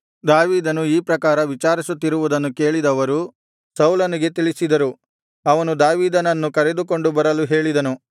ದಾವೀದನು ಈ ಪ್ರಕಾರ ವಿಚಾರಿಸುತ್ತಿರುವುದನ್ನು ಕೇಳಿದವರು ಸೌಲನಿಗೆ ತಿಳಿಸಿದರು ಅವನು ದಾವೀದನನ್ನು ಕರೆದುಕೊಂಡು ಬರಲು ಹೇಳಿದನು